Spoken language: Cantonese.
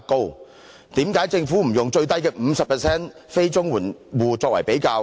為何政府不以最低的 50% 非綜援住戶作為比較？